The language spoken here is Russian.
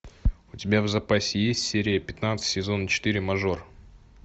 у тебя в запасе есть серия пятнадцать сезон четыре мажор